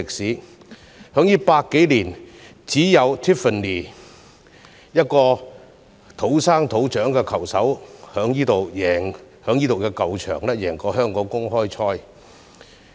在這100多年來，只有 Tiffany 一位土生土長的球手在這個球場贏得香港公開賽。